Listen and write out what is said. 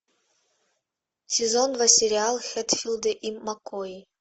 сезон два сериал хэтфилды и маккои